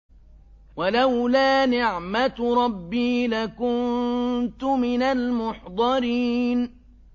وَلَوْلَا نِعْمَةُ رَبِّي لَكُنتُ مِنَ الْمُحْضَرِينَ